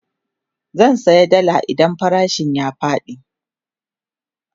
zan saya dalla idan farashin ta ya Faɗi